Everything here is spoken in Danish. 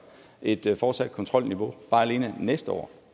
et fortsat kontrolniveau bare alene næste år